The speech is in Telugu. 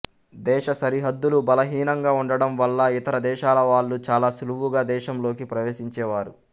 దేశ సరిహద్దులు బలహీనంగా ఉండడం వల్ల ఇతర దేశాల వాళ్లు చాలా సులువుగా దేశంలోకి ప్రవేశించేవారు